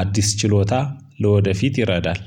አዲስ ችሎታ ለወደፊት ይረዳል።